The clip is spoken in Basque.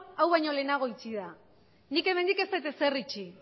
hau baino lehenago itxi da nik hemendik ez dut ezer itxi